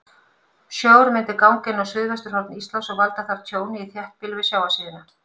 Sjór myndi ganga inn á suðvesturhorn Íslands og valda þar tjóni í þéttbýli við sjávarsíðuna.